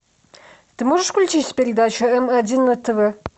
ты можешь включить передачу м один на тв